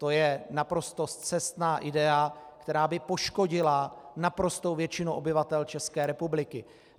To je naprosto scestná idea, která by poškodila naprostou většinu obyvatel České republiky.